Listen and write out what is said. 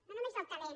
no només del talent